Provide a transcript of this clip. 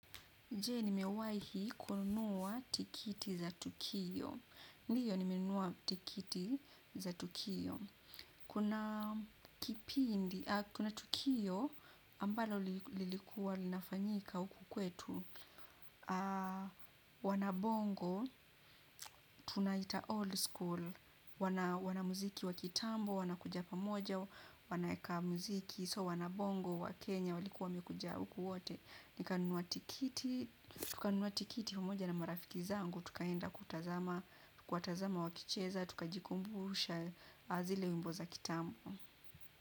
Je nimewahi kununua tikiti za tukio? Ndio nimenunua tikiti za tukio. Kuna tukio ambalo lilikuwa linafanyika huku kwetu. Wanabongo tunaita old skool wana wanamuziki wa kitambo, wanakuja pamoja, wanaeka muziki so wanabongo wa Kenya walikuwa wamekuja huku wote. Nikanunua tikiti pamoja na marafiki zangu, tukaenda kutazama, kuwatazama wakicheza, tukajikumbusha zile wimbo za kitambo.